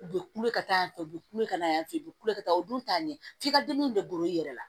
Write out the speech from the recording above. U bɛ kule ka taa yan fɛ u bɛ kule ka taa yan fɛ u bɛ kule ka taa u dun t'a ɲɛ f'i ka dimi de golo yɛrɛ la